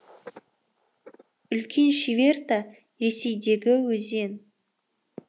үлкен шиверта ресейдегі өзен